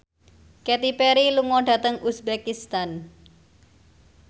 Katy Perry lunga dhateng uzbekistan